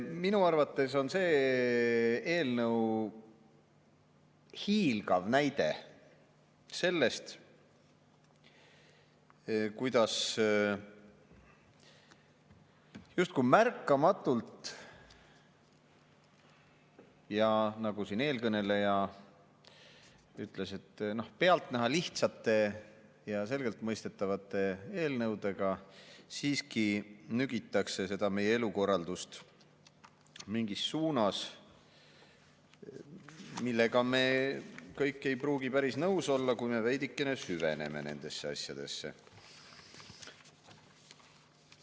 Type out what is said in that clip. Minu arvates on see eelnõu hiilgav näide sellest, kuidas justkui märkamatult ja eelkõneleja sõnul lihtsate ja selgelt mõistetavate eelnõudega siiski nügitakse meie elukorraldust suunas, millega me kõik ei pruugi päris nõus olla, kui veidikene süveneme nendesse asjadesse.